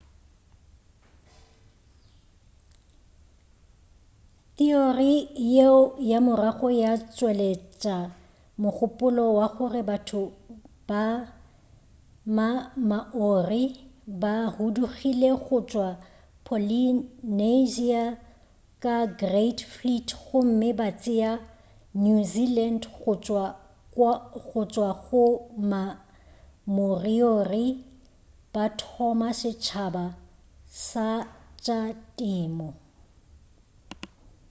theory yeo ka morago ya tšweletša mogopolo wa gore batho ba ma-maori ba hudugile go tšwa polynesia ka great fleet gomme ba tšea new zealand go tšwa go ma-moriori ba thoma setšhaba sa tša temo